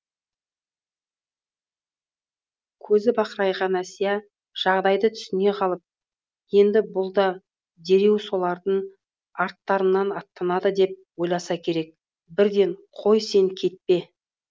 көзі бақырайған әсия жағдайды түсіне қалып енді бұл да дереу солардың арттарынан аттанады деп ойласа керек бірден қой сен кетпе